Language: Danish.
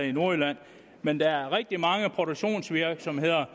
i nordjylland men der er rigtig mange produktionsvirksomheder